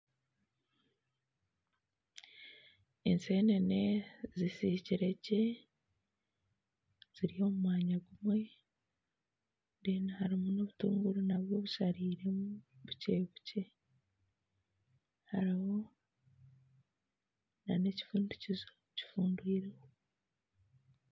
Ensenene zisikire gye ziri omumwanya gumwe harimu nobutunguru nabwo busariiremu bukye bukye hariho nana ekifundikizo kifundwireho